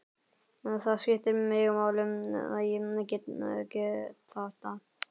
Það skiptir mig máli að ég get þetta.